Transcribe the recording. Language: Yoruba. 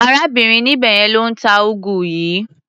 Arábìnrin níbẹ̀ yẹn ló ń ta úgú yìí.